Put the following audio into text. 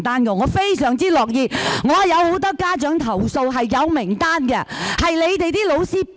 我收到很多家長投訴，是有名單的。